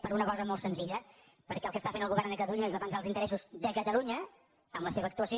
per una cosa molt senzilla perquè el que fa el govern de catalunya és defensar els interessos de catalunya amb la seva actuació